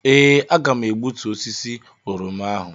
Ee, aga m egbutu osisi oroma ahụ.